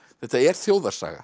þetta er